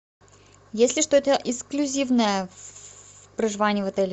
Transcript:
есть ли что то эксклюзивное в проживании в отеле